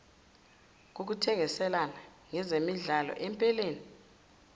kokuthengiselana ngezemidlalo empeleni